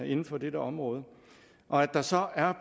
inden for dette område og at der så er